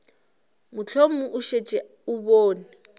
mohlomong o šetše o bone